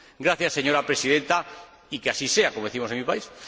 Gracias, señora Presidenta, y que así sea, como decimos en mi país.